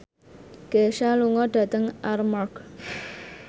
Kesha lunga dhateng Armargh